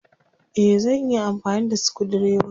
Eh. Zan iya amfani da sukudireba.